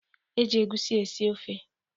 E ji egwusi esi ofe.